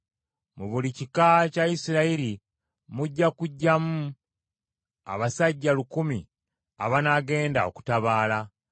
Mu buli kika kya Isirayiri mujja kuggyamu abasajja lukumi abanaagenda okutabaala.”